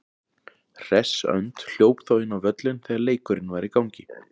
Hress önd hljóp þá inn á völlinn þegar leikurinn var í gangi.